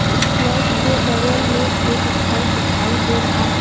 इस फ्लैट के बगल में एक घर दिखाई दे रहा है।